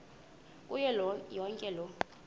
kuyo yonke loo